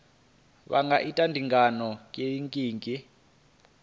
vha nga ita ndingo kiliniki